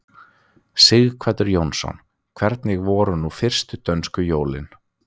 Sighvatur Jónsson: Hvernig voru nú fyrstu dönsku jólin?